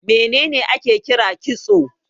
Me ne ne ake kira kitso?